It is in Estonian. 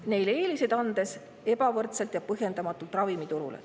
… neile eeliseid andes ebavõrdselt ja põhjendamatult ravimiturule.